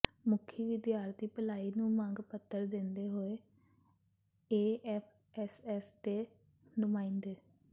ਮੁਖੀ ਵਿਦਿਆਰਥੀ ਭਲਾਈ ਨੂੰ ਮੰਗ ਪੱਤਰ ਦਿੰਦੇ ਹੋਏ ਏਐਫਐੱਸਐੱਸ ਦੇ ਨੁਮਾਂਇੰਦੇ